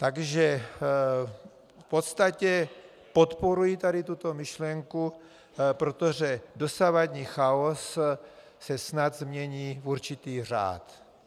Takže v podstatě podporuji tady tuto myšlenku, protože dosavadní chaos se snad změní v určitý řád.